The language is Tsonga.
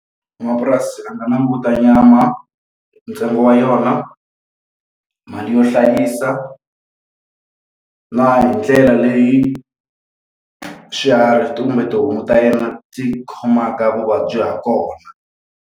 N'wamapurasi a nga languta nyama, ntsengo wa yona, mali yo hlayisa, na hi ndlela leyi swiharhi kumbe tihomu ta yena ti khomaka vuvabyi ha kona.